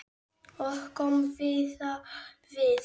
Og kom víða við.